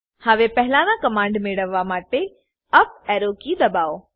હવે પહેલાના કમાંડ મેળવવા માટે યુપી એરો કી દબાઓ